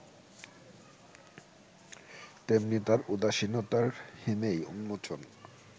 তেমনি তার উদাসীনতার হিমেই উন্মোচন